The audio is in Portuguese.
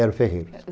Era o ferreiro.